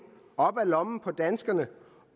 op af lommerne på danskerne